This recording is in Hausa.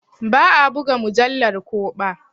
Ba a ɓuga mujallar ko ɓa.